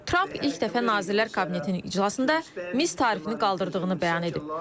Tramp ilk dəfə Nazirlər Kabinetinin iclasında mis tarifini qaldırdığını bəyan edib.